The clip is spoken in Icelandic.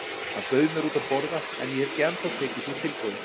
Hann bauð mér út að borða en ég hef ekki ennþá tekið því tilboð.